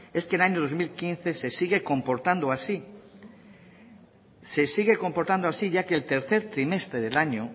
es que el año dos mil quince se sigue comportando así se sigue comportando así ya que el tercer trimestre del año